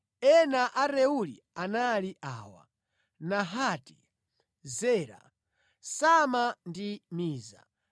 Ana a Reueli anali awa: Nahati, Zera, Sama ndi Miza.